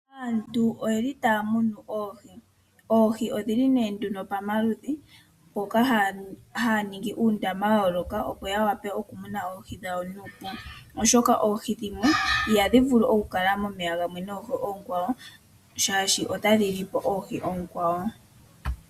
Aantu oye li taya munu oohi. Oohi odhi li nee pamaludhi mpoka ha ya ningi uundama wa yooloka opo ya wape okumona oohi dhawo nuupu, oshoka oohi dhimwe iha dhi vulu okukala momeya gamwe noonkwawo. Shaashi ota dhi lyi po oohi oonkwawo.